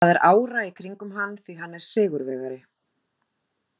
Það er ára í kringum hann því hann er sigurvegari.